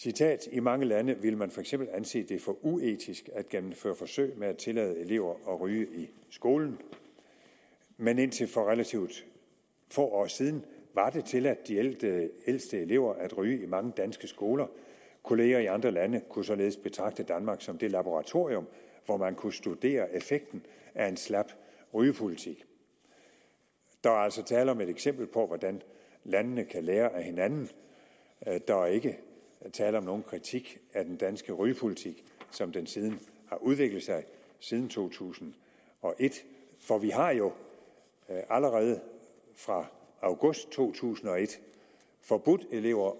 i mange lande ville man fx anse det for uetisk at gennemføre forsøg med at tillade elever at ryge i skolen men indtil for relativt få år siden var det tilladt de ældste elever at ryge i mange danske skoler kollegaer i andre lande kunne således betragte danmark som det laboratorium hvor man kunne studere effekten af en slap rygepolitik der er altså tale om et eksempel på hvordan landene kan lære af hinanden der er ikke tale om nogen kritik af den danske rygepolitik som den har udviklet sig siden to tusind og et for vi har jo allerede fra august to tusind og et forbudt elever